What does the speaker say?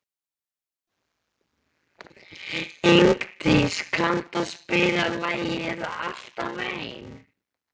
Ingdís, kanntu að spila lagið „Alltaf einn“?